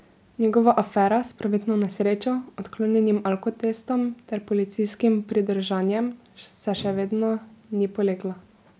Njegova afera s prometno nesrečo, odklonjenim alkotestom ter policijskim pridržanjem se še vedno ni polegla.